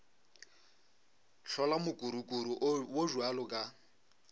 hlola mokurukuru wo bjalo ka